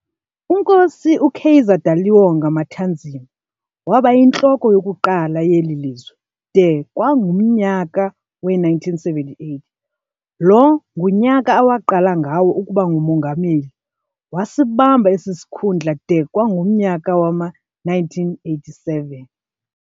UNkosi uKaiser Daliwonga Matanzima wabayintloko yokuqala yeli lizwe de kwangumnyaka we-1978, lo ngunyaka awaqala ngawo ukuba ngumongameli, wasibamba esi sikhundla de kwangumnyaka wama-1987.